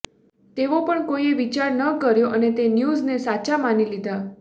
તેવો પણ કોઈએ વિચાર ન કર્યો અને તે ન્યુઝને સાચા માની લીધા